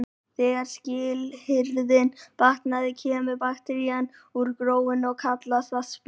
Þegar skilyrðin batna kemur bakterían úr gróinu og kallast það spírun.